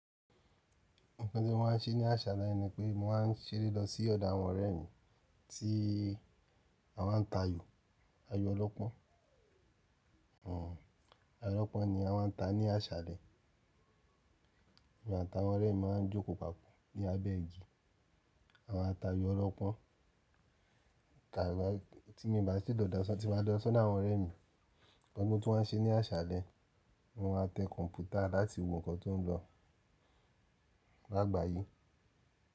Nǹkan tí mo máa ń ṣe ní àṣàlẹ̀ ni pé mo máa ń ṣeré lọ sí ọ̀dọ̀ àwọn ọ̀rẹ́ mi tí a máa ń ta ayò ọlọ́pọ́n. Àyò ọlọ́pọ́n ni a máa ń ta ní àṣàlẹ̀. Èmi àtàwọn ọ̀rẹ́ mi máa ń jókòó papọ̀ ní abẹ́ igi. A máa ń ta ayò ọlọ́pọ́n. Ìgbà tí mo bá sì lọ̀dọ̀san tí mo bá lọ sọ́dọ àwọn ọ̀rẹ́ mi, ǹkan kan tí mo tuw wa n ṣe ní àṣàlẹ̀ ni mo máa tẹ kọ̀ǹpútà láti wo nǹkan tó ń lọ lágbàáyí.